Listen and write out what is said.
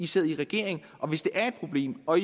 sidder i regering og hvis det er et problem og